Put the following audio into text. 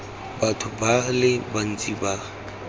batho ba le bantsi ba